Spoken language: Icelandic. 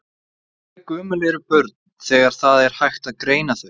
Og hve gömul eru börn þegar það er hægt að greina þau?